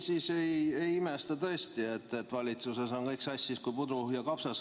Jah, siin kuulates ma tõesti ei imesta, et valitsuses on kõik sassis kui pudru ja kapsad.